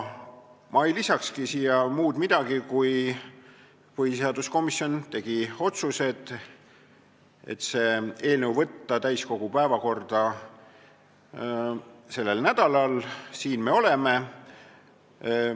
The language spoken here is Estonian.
Ma ei lisakski siia muud midagi kui seda, et põhiseaduskomisjon tegi otsuse võtta see eelnõu täiskogu päevakorda selleks nädalaks – ja siin me oleme.